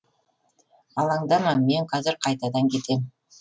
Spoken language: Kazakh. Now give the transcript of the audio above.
алаңдама мен қазір қайтадан кетем